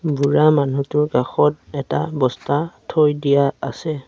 বুঢ়া মানুহটোৰ কাষত এটা বস্তা থৈ দিয়া আছে।